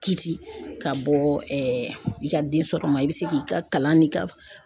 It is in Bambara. Kisi ka bɔ i ka densɔrɔ ma i bɛ se k'i ka kalan n'i ka